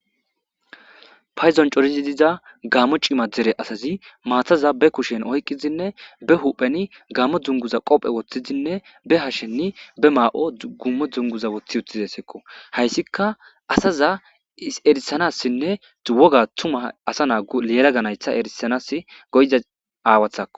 payzon corizi diza gaammo cima dere asazi maataza be kushen oyqqizinne be hupheni gammo dunguza qophe woththizinne be hashenni be maa7o gummo dzunguza woththi utizesekko hayssika asaza erisanassinne woga tuma asa naaggu leela ganaystha erisanas goyda aawathakko